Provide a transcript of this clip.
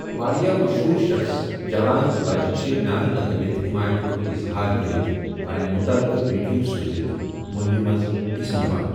واریاہ مشہوٗر شخص، جوان تہٕ بچہٕ چھِ نعرٕ لگٲوِتھ حمایتُک اظہار کٔرتھ پنٕنۍ متعلقہٕ ویڈیو سوٗزتھ مہمہِ منٛز حصہٕ نِوان۔